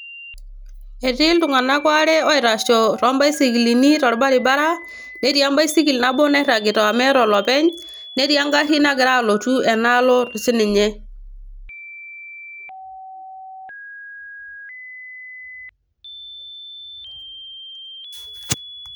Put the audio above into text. etii iltunganak aare oitasho too baisikilini tolabaribara, netii ebaisikl nabo nairagita meeta olopeny, netii egari nagira alotu ena alo sii ninye.